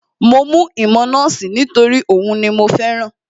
Mo mú ìmọ̀ nọ́ọ̀sì nítorí òhun ni mo fẹ́ràn